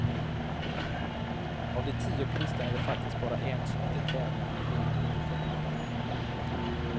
Av de tio på listan är det faktiskt bara en som inte tävlar med skidor på fötterna.